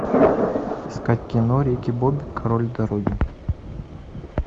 искать кино рики бобби король дороги